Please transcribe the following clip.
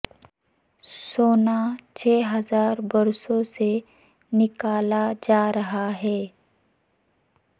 سونا چھ ہزار برسوں سے نکالا جا رہا ہے